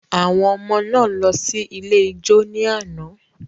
Àwọn ọmọ náà lọ sí ilé ijó ní àná.